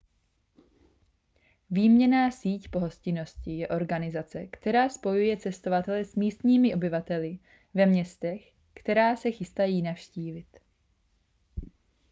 výměnná síť pohostinnosti je organizace která spojuje cestovatele s místními obyvateli ve městech která se chystají navštívit